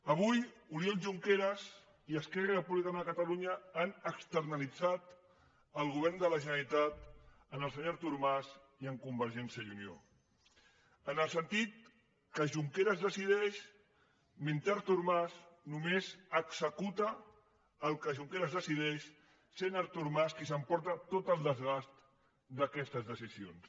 avui oriol junqueras i esquerra republicana de catalunya han externalitzat el govern de la generalitat en el senyor artur mas i en convergència i unió en el sentit que junqueras decideix mentre artur mas només executa el que junqueras decideix i és artur mas qui s’emporta tot el desgast d’aquestes decisions